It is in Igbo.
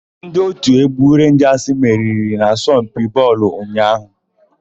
Ndị òtù égwú Renjasị meriri n'asompi bọọlụ ụnyaahụ.